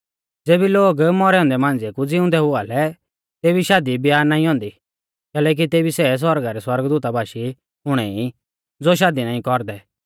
ज़ेबी लोग मौरै औन्दै मांझ़िऐ कु ज़िउंदै हुआ लै तेबी शादीब्याह नाईं औन्दी कैलैकि तेबी सै सौरगा रै सौरगदूता बाशी हुणै ई ज़ो शादी नाईं कौरदै